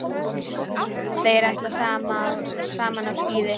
Þeir ætla saman á skíði.